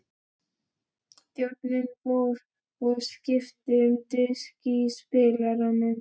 Þjónninn fór og skipti um disk í spilaranum.